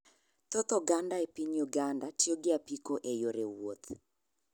Thoth oganda e piny Uganda tiyo gi apiko e yore wuoth.